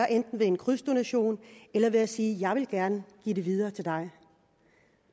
enten ved en krydsdonation eller ved at sige jeg vil gerne give det videre til dig